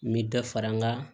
N bɛ dɔ fara n ka